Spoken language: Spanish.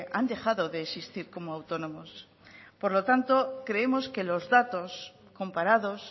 han dejado de existir como autónomos por lo tanto creemos que los datos comparados